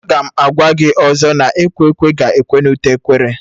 Aga m agwa gị ọzọ na ekwe ekwe ga-ekwe na ute ekwere